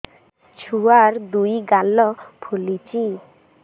ଛୁଆର୍ ଦୁଇ ଗାଲ ଫୁଲିଚି